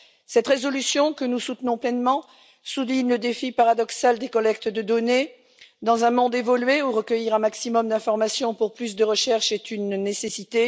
Cette résolution, que nous soutenons pleinement, souligne le défi paradoxal des collectes de données dans un monde évolué où recueillir un maximum d'informations pour plus de recherche est une nécessité.